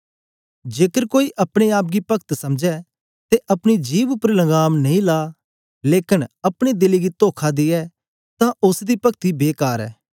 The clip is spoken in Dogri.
जेकर कोई अपने आप गी पगत समझै ते अपनी जिभ उपर लगांम नेई ला लेकन अपने दिले गी तोखा दियै तां ओसदी पगती बेकार ऐ